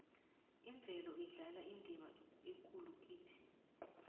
imvelo idlala indima ekulu kithi